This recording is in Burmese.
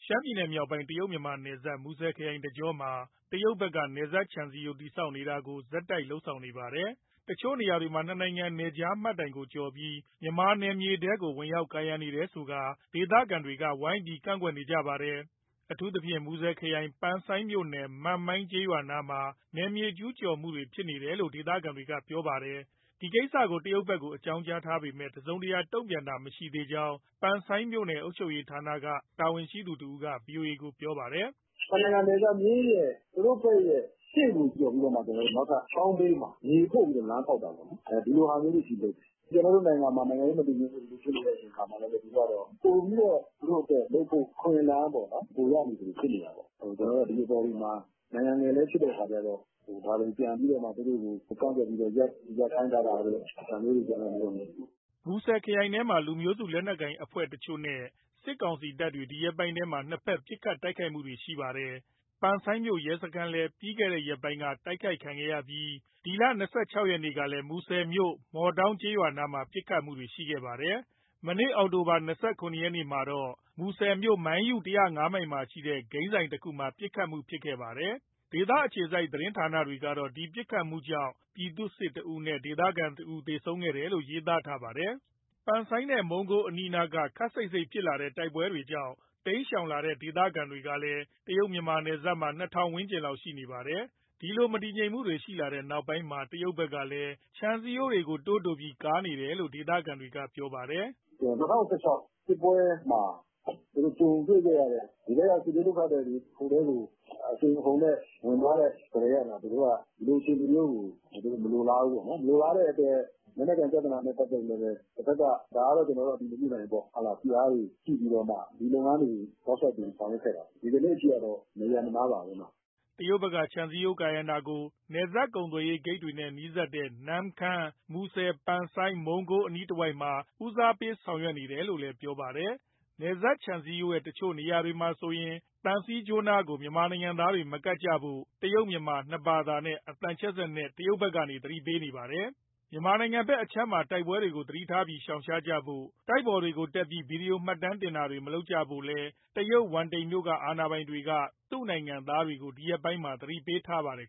ရှမ်းပြည်နယ်မြောက်ပိုင်း တရုတ်- မြန်မာနယ်စပ် မူဆယ်ခရိုင်တကြောမှာ တရုတ်ဘက် နယ်စပ်ခြံစည်းရိုး တည်ဆောက်တာကို ဆက်တိုက်လုပ်နေပါတယ်။ တချို့နေရာတွေမှာ နှစ်နိုင်ငံ နယ်ခြားမှတ်တိုင်ကိုကျော်ပြီး မြန်မာနယ်မြေထဲကို ဝင်ရောက်ကာရံနေတယ်ဆိုပြီး ဒေသခံက ဝိုင်းပြီးကန့်ကွက် နေကြပါတယ်။ အထူးသဖြင့် မူဆယ်ခရိုင်၊ ပန်ဆိုင်းမြို့နယ်၊ မန့်မိုင်ကျေးရွာနားမှာ နယ်မြေကျူးကျော်မှု တွေဖြစ်ခဲ့တယ်လို့ ဒေသခံတွေကပြောပါတယ်။ ဒီကိစ္စ တရုတ်ဘက်ကို အကြောင်းကြားထားပေမဲ့ တစုံတရာ တုံ့ပြန်တာမျိုးမရှိသေးကြောင်း ပန်ဆိုင်းမြို့နယ် အုပ်ချုပ်ရေးဌာနဘက်က တာဝန်ရှိသူတဦးက ဗွီအိုအေကို ပြောပါတယ်။ “နှစ်နိုင်ငံနယ်စပ်မျဉ်းရဲ့ သူတို့ဘက်ရဲ့ ရှေ့ကိုကျော်ပြီးတော့မှ နောက်ထပ်ချောင်းဘေးမှာ မြေဖို့ပြီးတော့ လမ်းဖောက်တာပေါ့နော်၊ ဒီလိုဟာမျိုးတွေအထိ လုပ်တယ်။ ကျနော်တို့နိုင်ငံမှာ နိုင်ငံရေး မတည်ငြိမ်မှုတွေဖြစ်နေတဲ့အချိန်အခါမှာ ပိုပြီးတော့ သူတို့အတွက် လုပ်ဖို့အခွင့်အလမ်း ပိုရနေသလို ဖြစ်နေတာပေါ့။ ကျနော်တို့က ဒီအပေါ်တွေမှာ နိုင်ငံငယ်လည်း ဖြစ်တဲ့အခါကျတော့ ဒါတွေကို ပြန်ပြီးတော့မှ သူတို့ကို ကန့်ကွက်ပြီးတော့ ရပ်ခိုင်းထားတာတို့ ဒါမျိုးတွေလုပ်တယ်။" မူဆယ်ခရိုင်ထဲမှာ လူမျိုးစု လက်နက်ကိုင်အဖွဲ့တချို့နဲ့ စစ်ကောင်စီတပ်တွေဒီရက်ပိုင်းထဲမှာ နှစ်ဘက်ပစ်ခတ်မှုတွေ ရှိပါတယ်။ ပန်ဆိုင်းမြို့ရဲစခန်းလည်း ပြီးခဲ့တဲ့ ရက်ပိုင်းအတွင်းက တိုက်ခိုက်ခံရပြီး မနေ့က အောက်တိုဘာ ၂၆ ရက်ကလည်း မူဆယ်မြို့၊ မော်တောင်းကျေးရွာနားမှာ ပစ်ခတ်မှုတွေ ရှိခဲ့ပါတယ်။ ဒီနေ့ အောက်တိုဘာ ၂၇ ရက်မှာတော့ မူဆယ်မြို့၊ မိုင်းယု (၁၀၅ မိုင်) မှာရှိတဲ့ ဂိမ်းဆိုင်တခုမှာ ပစ်ခတ်မှုတခု ဖြစ်ခဲ့ပါတယ်။ ဒေသအခြေစိုက် သတင်းဌာနတွေကတော့ ဒီပစ်ခတ်မှုကြောင့် ပြည်သူ့စစ်တဦးနဲ့ ဒေသခံတဦး သေဆုံးခဲ့တယ်လို့ ရေးသားထားပါတယ်။ ပန်ဆိုင်းနဲ့ မုံကိုးအနီးနားက ခပ်စိပ်စိပ်ဖြစ်လာတဲ့ တိုက်ပွဲတွေကြောင့် တိမ်းရှောင်လာတဲ့ ဒေသခံကလည်း တရုတ်- မြန်မာ နယ်စပ်မှာ ၂,၀၀၀ ဝန်းကျင်လောက်ရှိနေတာပါ။ ဒီလိုမတည်ငြိမ်မှုတွေ ရှိလာတဲ့နောက်ပိုင်း တရုတ်ဘက်က ခြံစည်းရိုးတွေ ပိုပြီးတိုးကာလာနေတာလို့ ဒေသခံတွေက ပြောပါတယ်။ “၂၀၁၆ စစ်ပွဲမှာ သူတို့ကြုံတွေ့ခဲ့ရတဲ့ ဒီဘက်က စစ်ဘေးဒုက္ခသည်တွေ ဟိုဘက်ကို အရှိန်အဟုန်နဲ့ ဝင်သွားတဲ့ကတည်းက သူတို့က ဒီလိုအခြေအနေမျိုးကို မလိုလားဘူးပေါ့နော်။ မလိုလားတဲ့အတွက် လက်နက်ကိုင် ပြဿနာနဲ့ ပတ်သက်ပြီးတော့လည်း တဖက်က၊ ဒါကတော့ ကျနော်တို့ အတည်မပြုဘူးပေါ့၊ ဖိအားတွေ ရှိပြီးတော့မှ ဒီလုပ်ငန်း (ခြံစည်းရိုးကာတာကို) တောက်လျှောက်ဆောင်ရွက်ခဲ့တာ ဒီကနေ့အထိကတော့ မရပ်မနားပါပဲ။” တရုတ်ဘက်က ခြံစည်းရိုးကာရံတာကို နယ်စပ်ကုန်သွယ်ရေး ဂိတ်တွေနဲ့နီးတဲ့ နမ့်ခမ်း၊ မူဆယ်၊ ပန်ဆိုင်း၊ မုံးကိုး အနားတဝိုက်မှာ ဦးစားပေး ဆောင်ရွက်နေတယ်လို့ ပြောပါတယ်။ နယ်စပ်ခြံစည်းရိုးရဲ့ တချို့နေရာတွေမှာဆိုရင် သံဆူးကြိုးနားကို မြန်မာနိုင်ငံသားတွေ မကပ်ကြဖို့ တရုတ်- မြန်မာ နှစ်ဘာသာနဲ့ အသံချဲ့စက်ကနေ တရုတ်ဘက်က သတိပေးနေတာပါ။ မြန်မာနိုင်ငံဘက်အခြမ်းက တိုက်ပွဲတွေကို သတိထားပြီး ရှောင်ရှားကြဖို့၊ တိုက်ပေါ်တွေတက်ပြီး ဗွီဒီယို မှတ်တမ်းတင်တာတွေ မလုပ်ကြဖို့လည်း တရုတ်ဝမ်တိန်မြို့က အာဏာပိုင်တွေက သူ့နိုင်ငံသားတွေကို အခုရက်ပိုင်းထဲမှာ သတိပေးထားပါတယ်